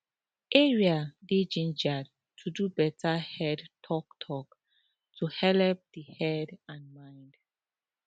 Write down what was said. area dey gingered to do better head talktalk to helep the head and mind